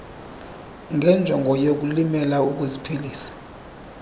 ngenjongo yokulimela ukuziphilisa